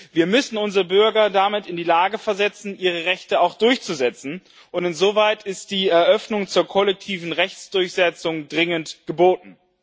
Wir müssen unsere Bürger damit in die Lage versetzen, ihre Rechte auch durchzusetzen, und insoweit ist die Eröffnung zur kollektiven Rechtsdurchsetzung dringend geboten.